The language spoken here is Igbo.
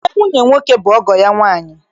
Nne nwunye nwoke bụ ọgọ ya nwaanyị